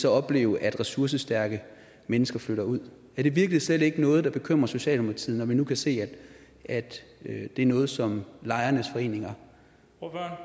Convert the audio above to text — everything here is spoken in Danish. opleve at ressourcestærke mennesker flytter ud er det virkelig slet ikke noget der bekymrer socialdemokratiet når vi nu kan se at det er noget som lejernes foreninger